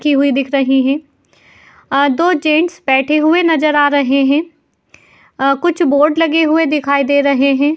की हुई दिख रही हैं। अं दो जेंट्स बैठे हुए नजर आ रहे हैं। अं कुछ बोर्ड लगे हुए दिखाई दे रहे हैं।